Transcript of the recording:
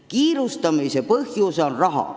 Kiirustamise põhjus on raha.